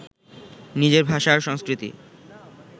নিজের ভাষা আর সংস্কৃতি